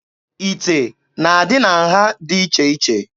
Ite na-adị na nha dị iche iche.